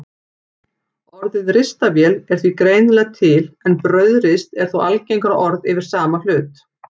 Orðið ristavél er því greinilega til en brauðrist er þó algengara orð yfir sama hlut.